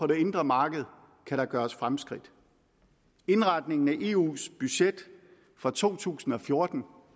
det indre marked kan der gøres fremskridt indretningen af eus budget for to tusind og fjorten